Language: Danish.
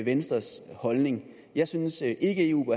venstres holdning jeg synes ikke eu